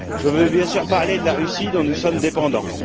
Je veux bien sûr parler de la Russie dont nous sommes dépendants.